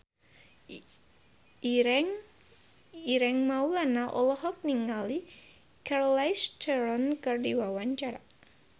Ireng Maulana olohok ningali Charlize Theron keur diwawancara